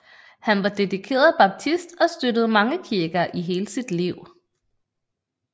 Han var dedikeret baptist og støttede mange kirker i hele sit liv